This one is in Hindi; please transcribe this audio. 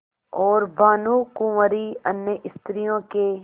और भानुकुँवरि अन्य स्त्रियों के